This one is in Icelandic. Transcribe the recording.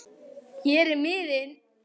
Hér er miðinn